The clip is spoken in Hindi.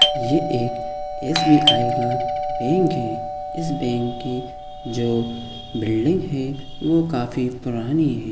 ये एक एस. बी. आई. का बैंक है इस बैंक कि जो बिल्डिंग है वो काफी पुरानी है।